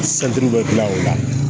bɛ gilan o la